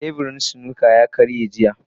Teburin snooker ta karye jiya.